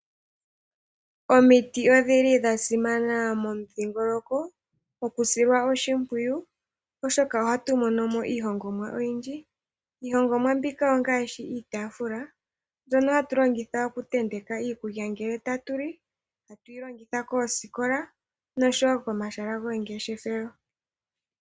Omiti odhili dha simana momudhingoloko, okusilwa oshimpwiyu oshoka ohatu mono mo iihongomwa oyindji. Iihongomwa mbika ongaashi iitaafula mbyono hatu longitha oku tenteka iikulya ngele tatu li, tatu yi longitha koosikola noshowo komahala gomangeshefelo.